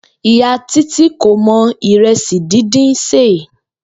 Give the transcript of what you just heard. Ìyá Títí kò mo̩ ìre̩sì díndín sè